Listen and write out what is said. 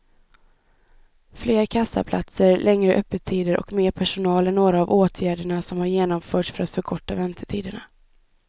Fler kassaplatser, längre öppettider och mer personal är några av åtgärderna som har genomförts för att förkorta väntetiderna.